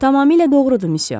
Tamamilə doğrudur, müsyö.